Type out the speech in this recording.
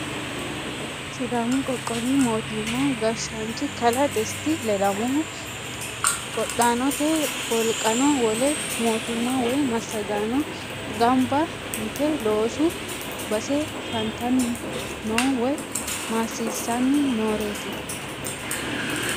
Sidaammu qoqqowwi moottima gashshanichi kalaa desita ledamohu, qodhanotte woliqqano, wole mootimma woyi massaggano gammiba yitte loosu basse fananitani noo woyi maasisanni nooreti